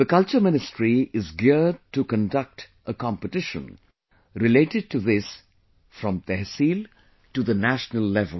The Culture Ministry is geared to conduct a competition related to this from tehsil to the national level